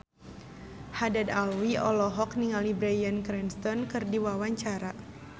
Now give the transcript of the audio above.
Haddad Alwi olohok ningali Bryan Cranston keur diwawancara